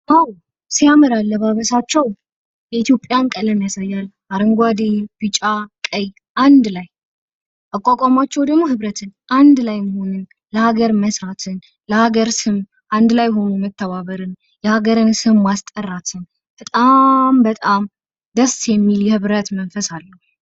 ዋው! ሲያምር አለባበሳቸው የኢትዮጵያን ቀለም ያሳያል አረንጓዴ ቢጫ ቀይ አንድ ላይ አቋቋማቸው ደግሞ ህብረትን አንድ ላይ መሆንን ለሀገር መስራትን ለሀገር ስም አንድ ላይ ሁኖ መተባበርን የሀገርን ስም ማስጠራትን በጣም በጣም ደስ የሚል የህብረት መንፈስ አለው።